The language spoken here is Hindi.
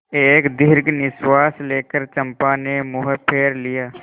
एक दीर्घ निश्वास लेकर चंपा ने मुँह फेर लिया